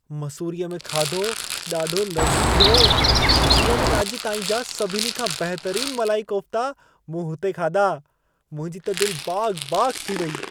मसूरीअ में खाधो ॾाढो लज़ीजु हो। जीवन में अॼु ताईं जा सभिनी खां बहितरीनु मलाई कोफ्ता मूं हुते खाधा। मुंहिंजी त दिल बाग़-बाग़ थी वई।